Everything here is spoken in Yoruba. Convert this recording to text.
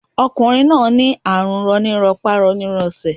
Ọkùnrin rin náà ní àrùn roni lápá roni lésè